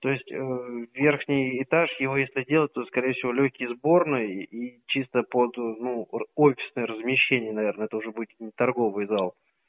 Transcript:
то есть верхний этаж его если делать то скорее всего лёгкие сборной и чисто под ну офисные размещение наверное тоже будет не торговый зал